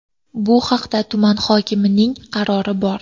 Bu haqida tuman hokimining qarori bor.